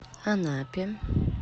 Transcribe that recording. анапе